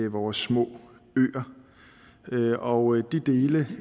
vores små øer de dele af